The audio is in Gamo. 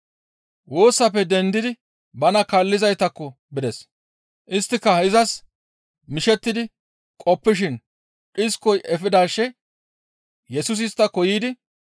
Woosappe dendidi bana kaallizaytakko bides. Isttika izas mishettidi qoppishin dhiskoy efidaashe Yesusi isttako yiidi,